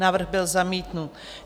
Návrh byl zamítnut.